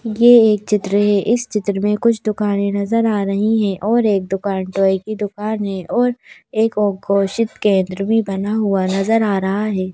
ये एक चित्र है। इस चित्र में कुछ दुकानें नजर आ रही हैं और एक दुकान टॉय की दुकान है और एक ओ घोषित केंद्र भी बना हुआ नजर आ रहा है।